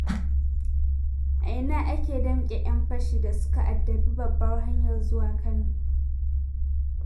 A ina aka damƙe 'yan fashin da suka addabi babbar hanyar zuwa Kano?